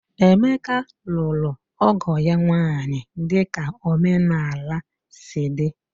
Emeka lụrụ ọgo ya nwaanyị dika omenala sị di